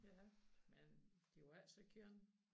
Ja men de var ikke så kønne